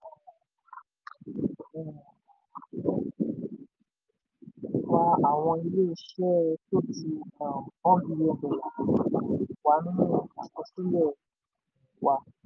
pẹ̀lú ìṣirò um um wa àwọn ilé-iṣẹ́ tó ju um $ one bílíọ̀nù wà nínú àkọsílẹ̀ um wa.